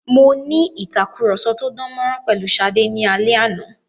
Mo ní ìtàkurọ̀sọ tó dán mọ́rán pẹ̀lu Ṣadé ní alẹ́ àná.